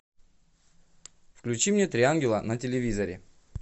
включи мне три ангела на телевизоре